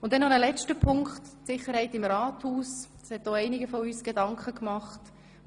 Noch ein letzter Punkt, die Sicherheit im Rathaus, worüber sich auch einige Ratsmitglieder Gedanken gemacht haben.